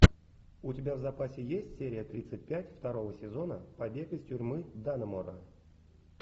у тебя в запасе есть серия тридцать пять второго сезона побег из тюрьмы даннемора